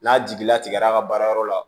N'a jigila tigɛra a ka baarayɔrɔ la